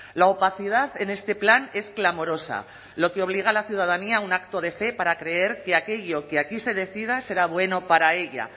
la opacidad en este plan es clamorosa lo que obliga a la ciudadanía un acto de fe para creer que aquello que aquí se decida será bueno para ella